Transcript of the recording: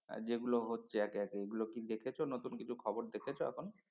আর যেগুলো হচ্ছে একে একে এগুলো কি দেখেছ নতুন কিছু খবর দেখেছ এখন?